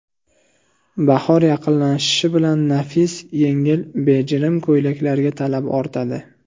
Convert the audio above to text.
Bahor yaqinlashishi bilan nafis, yengil, bejirim ko‘ylaklarga talab ortadi.